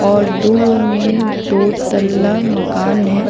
और दूर में दो तला मकान है।